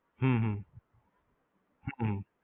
હમ હમ